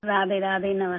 राधे राधे नमस्ते